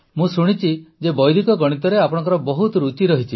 ମୁଁ ଶୁଣିଛି ଯେ ବୈଦିକ ଗଣିତରେ ଆପଣଙ୍କର ବହୁତ ରୁଚି ରହିଛି